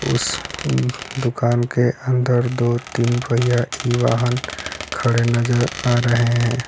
उस दुकान के अंदर दो तीन पहिया की वाहन खड़े नजर आ रहे हैं।